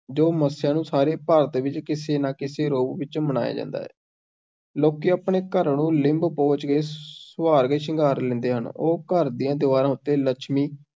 ਜੋ ਮੱਸਿਆ ਨੂੰ ਸਾਰੇ ਭਾਰਤ ਵਿੱਚ, ਕਿਸੇ ਨਾ ਕਿਸੇ ਰੂਪ ਵਿੱਚ ਮਨਾਇਆ ਜਾਂਦਾ ਹੈ, ਲੋਕੀਂ ਆਪਣੇ ਘਰਾਂ ਨੂੰ ਲਿੰਬ-ਪੋਚ ਕੇ ਸੁਆਰ ਕੇ ਸ਼ਿੰਗਾਰ ਲੈਂਦੇ ਹਨ, ਉਹ ਘਰ ਦੀਆਂ ਦਿਵਾਰਾਂ ਉੱਤੇ ਲੱਛਮੀ